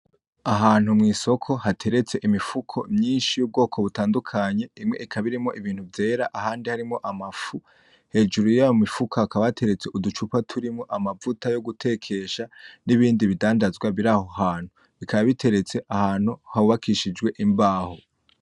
Ahantu mw'isoko hataretse imifuko myinshi y'ubwoko bitadukanye, imwe ikaba irimwo ibintu vyera ahandi harimwo ama fu hejuru, yayamifuka hakaba hateretse uducupa turimwo amavuta yogutekesha, nibindi bidandazwa biraho hantu bikaba biteretswe ahantu hubakishijwe imbaho.